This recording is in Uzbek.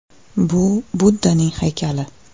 “Bu Buddaning haykali.